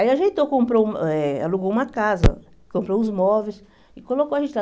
Aí ajeitou, comprou eh alugou uma casa, comprou os móveis e colocou a gente lá.